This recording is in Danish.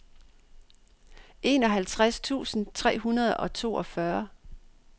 enoghalvtreds tusind tre hundrede og toogfyrre